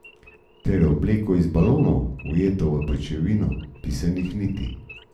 Ter obleko iz balonov, ujeto v pajčevino pisanih niti.